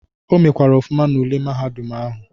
O mekwara ọfụma n'ule mahadum ahụ.